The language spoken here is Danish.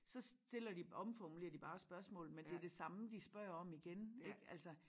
Så stiller de omformulerer de bare spørgsmålet med det de samme de spørger om igen ik altså